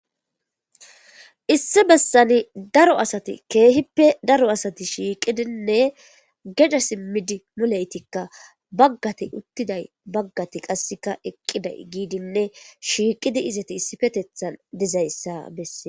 issi bessani daro asati keehippe daro asati shiiqidinne geda simmidi muleytikka baggati uttiday baggati qasseka eqqiday giidinne shiiqidi izati issifetethan dizayssa bessee